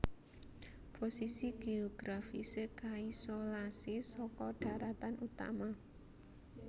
Posisi géografisé kaisolasi saka dharatan utama